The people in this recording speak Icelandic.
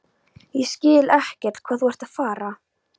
Ég skil ekkert hvað þú ert að fara.